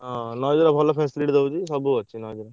ହଁ Noise ର ଭଲ facility ଦଉଛି ସବୁ ଅଛି Noise ର।